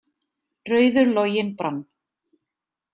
„Rauður loginn brann“.